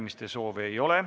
Kõnesoove ei ole.